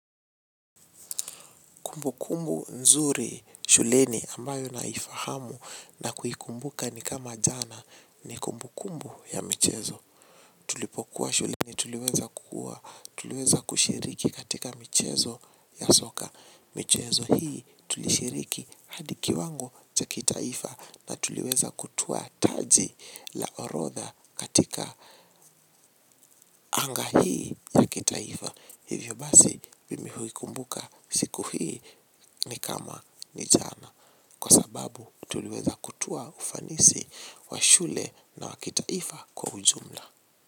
Kumbukumbu nzuri shuleni ambayo nahifahamu na kuhikumbuka ni kama jana ni kumbukumbu ya michezo. Tulipokuwa shuleni tuliweza kukua, tuliweza kushiriki katika michezo ya soka. Michezo hii tulishiriki hadi kiwango cha kitaifa na tuliweza kutua taji la orodha katika anga hii ya kitaifa. Hivyo basi mimi huikumbuka siku hii ni kama ni jana kwa sababu tuliweza kutua ufanisi wa shule na wakitaifa kwa ujumla.